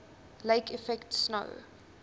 lake effect snow